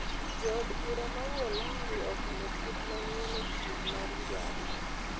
Jood bura ma Uholanzi okalo chik mayiene pur mar njaga